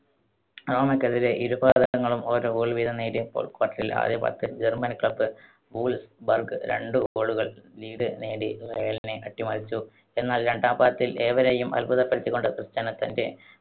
റോമക്കെതിരെ ഇരു പാദങ്ങളിലും ഓരോ goal വീതം നേടിയപ്പോൾ quarter ൽ ആദ്യ പാദത്തിൽ German club വൂൾസ് ബർഗ് രണ്ട് goal കൾ lead നേടി റയലിനെ അട്ടിമറിച്ചു. എന്നാൽ രണ്ടാം പാദത്തിൽ ഏവരെയും അത്ഭുതപ്പെടുത്തികൊണ്ട് ക്രിസ്റ്റ്യാനോ തന്റെ